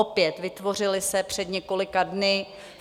Opět - vytvořily se před několika dny.